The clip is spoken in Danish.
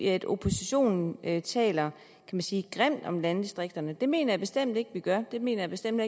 at oppositionen taler grimt om landdistrikterne det mener jeg bestemt ikke vi gør det mener jeg bestemt